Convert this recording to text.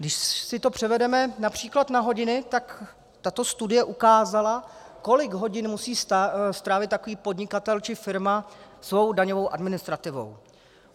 Když si to převedeme například na hodiny, tak tato studie ukázala, kolik hodin musí strávit takový podnikatel či firma svou daňovou administrativou.